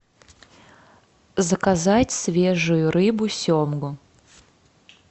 заказать свежую рыбу семгу